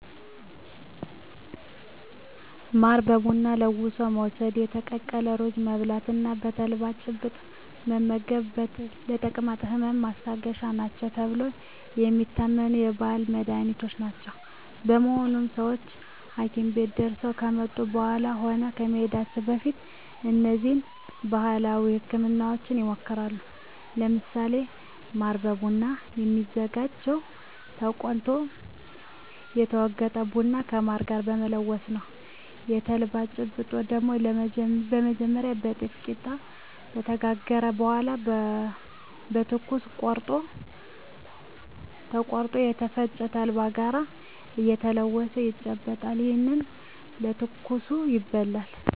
ማርን በቡና ለውሶ መውስድ፣ የተቀቀለ ሩዝ መብላት እና የተልባ ጭብጥ መመገብ ለተቅማጥ ህመም ማስታገሻ ናቸው ተብለው የሚታመኑ ባህላዊ መድሀኒቶች ናቸው። በመሆኑም ሰወች ሀኪም ቤት ደርሰው ከመጡ በኃላም ሆነ ከመሄዳቸው በፊት እነዚህን ባህላዊ ህክምናወች ይሞክራሉ። ለምሳሌ ማር በቡና የሚዘጋጀው ተቆልቶ የተወገጠን ቡና ከማር ጋር በመለወስ ነው። የተልባ ጭብጥ ደግሞ በመጀመሪያ የጤፍ ቂጣ ከተጋገረ በኃላ በትኩሱ ቆርሶ ተቆልቶ ከተፈጨ ተልባ ጋር እየተለወሰ ይጨበጣል። ይህም በትኩሱ ይበላል።